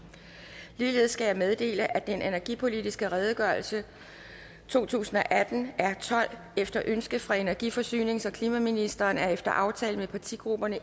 ligeledes skal jeg meddele at den energipolitiske redegørelse to tusind og atten r tolv efter ønske fra energi forsynings og klimaministeren og efter aftale med partigrupperne